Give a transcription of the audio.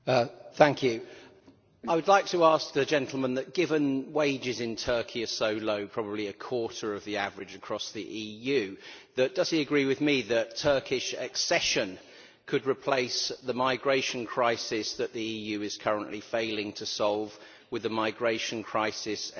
I would like to ask the gentleman given that wages in Turkey are so low probably a quarter of the average across the EU does he agree with me that Turkish accession could replace the migration crisis that the EU is currently failing to solve with a migration crisis every bit as big?